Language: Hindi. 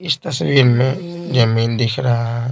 इस तस्वीर में जमीन दिख रहा है।